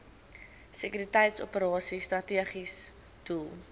sekuriteitsoperasies strategiese doel